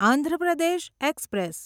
Andhra Pradesh express